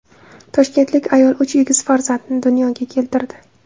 Toshkentlik ayol uch egiz farzandni dunyoga keltirdi.